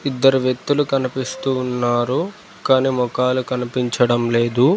ఇద్దరు వ్యక్తులు కనిపిస్తూ ఉన్నారు కానీ మోఖాలు కనిపించడం లేదు.